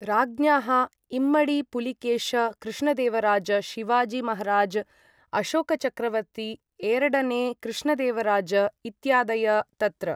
राज्ञाः इम्मडि पुलिकेष कृष्णदेवराज शिवाजि महाराज अशोकचक्रवर्ति एरडने कृष्णदेवराज इत्यादय तत्र